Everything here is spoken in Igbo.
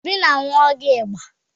Obi na-aṅụ ọgwụ ịba.